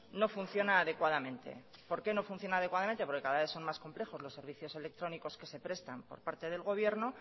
no funciona adecuadamente por qué no funciona adecuadamente porque cada vez son más complejos los servicios electrónicos que se prestan por parte del gobierno